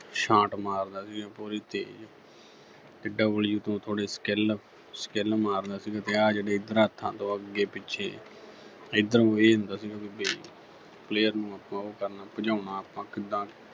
ਛਾਂਟ ਮਾਰਦਾ ਸੀਗਾ ਪੂਰੀ ਤੇਜ਼ ਤੇ W ਤੋਂ ਥੋੜੀ skill ਮਾਰਦਾ ਸੀਗਾ ਤੋਂ ਅੱਗੇ-ਪਿੱਛੇ ਏਧਰ ਨੂੰ ਇਹ ਹੁੰਦਾ ਸੀਗਾ ਵੀ player ਨੂੰ ਆਪਾਂ ਉਹ ਕਰਨਾ ਭਜਾਉਣਾ ਆਪਾਂ ਕਿੱਦਾਂ